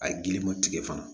A ye giliw tigɛ fana